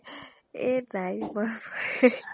এই নাই